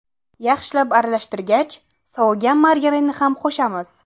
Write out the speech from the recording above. Yaxshilab aralashtirgach, sovigan margarinni ham qo‘shamiz.